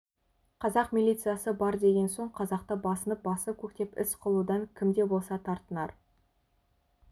қазақ милициясы бар деген соң қазақты басынып басып-көктеп іс қылудан кім де болса тартынар